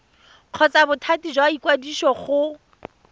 kgotsa bothati jwa ikwadiso go